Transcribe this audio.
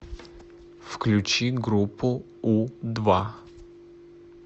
включи группу у два